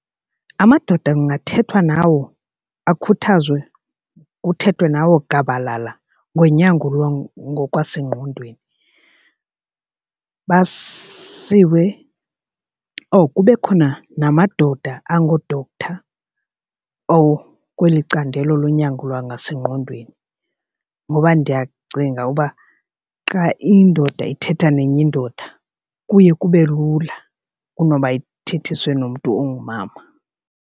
Amadoda kungathethwa nawo akhuthazwe kuthethwe nawo gabalala ngonyango lwangokwasengqondweni basiwe or kube khona namadoda angoo-doctor or kweli candelo lonyango lwangasengqondweni. Ngoba ndiyacinga uba xa indoda ithetha nenye indoda kuye kube lula kunoba ithethiswe nomntu ongumama.